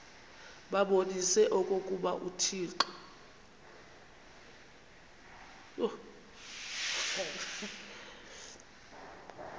babonise okokuba uthixo